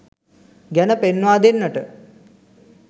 ගැන පෙන්වා දෙන්නට.